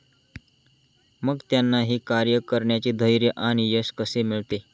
मग त्यांना हे कार्य करण्याचे धैर्य आणि यश कसे मिळते?